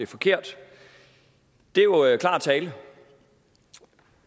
forkert det er jo klar tale